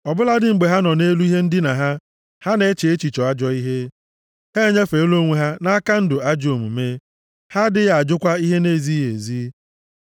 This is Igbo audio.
Ọ bụladị mgbe ha nọ nʼelu ihe ndina ha, ha na-eche echiche ajọ ihe; ha enyefeela onwe ha nʼaka ndụ ajọ omume, ha adịghị ajụkwa ihe na-ezighị ezi.